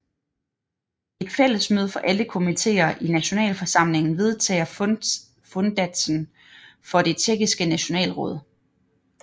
Et fællesmøde for alle komitéer i Nationalforsamlingen vedtager fundatsen for det Tjekkiske Nationalråd